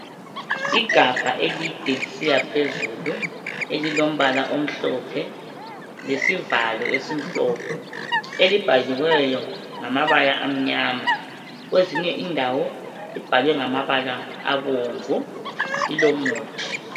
Igabha elide lisiyaphezuli elilombala omhlophe lesivalo esimhlophe elibhaliweyo ngamabala amnyama kwezinye indawo libhalwe ngamabala abomvu lilomuthi .